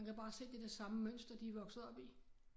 Man kan bare se det der samme mønster de vokset op i